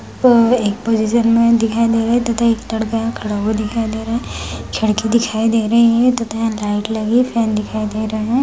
यह एक पोज़िशन में दिखाई दे रहा है तथा एक लड़का यहाँ खड़ा हुआ दिखाई दे रहा है खिड़की दिखाई दे रही है तथा यहाँ लाइट लगी है फैन दिखाई दे रहा है।